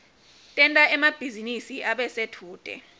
tenta emabhizinisi abe sedvute